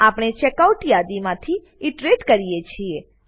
આપણે ચેકઆઉટ યાદીમાંથી ઈટરેટ કરીએ છીએ